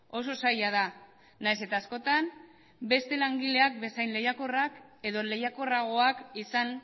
oso zaila da nahiz eta askotan beste langileak bezain lehiakorrak edo lehiakorragoak izan